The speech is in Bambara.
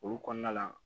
Olu kɔnɔna la